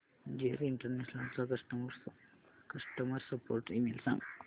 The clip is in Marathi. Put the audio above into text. जीएस इंटरनॅशनल चा कस्टमर सपोर्ट ईमेल सांग